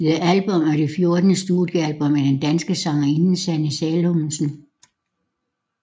The Album er det fjortende studiealbum af den danske sangerinde Sanne Salomonsen